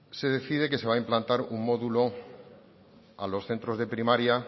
se decide que se va a implantar un módulo a los centros de primaria